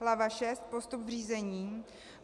Hlava VI. Postup v řízení.